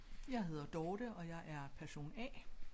Jeg hedder Dorthe og jeg er person A